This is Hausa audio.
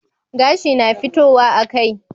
Gashi na fitowa a kai